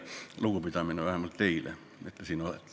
Minu lugupidamine vähemalt teile, et te siin olete.